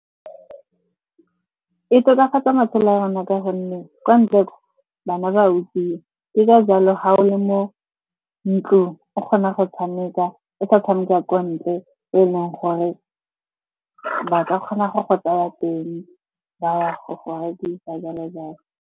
E tokafatsa matshelo a rona ka gonne kwa ntle kwa bana ba utswiwa. Ke ka jalo ga o le mo ntlong o kgona go tshameka, o sa tshameka kwa ntle e leng gore ba ka kgona go go tsaya teng, ba ya go go rekisa, jalo-jalo.